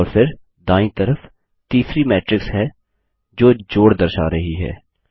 और फिर दांयी तरफ तीसरी मैट्रिक्स है जो जोड़ दर्शा रही है